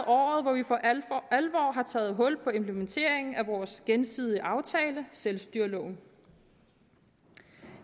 året hvor vi for alvor har taget hul på implementeringen af vores gensidige aftale selvstyreloven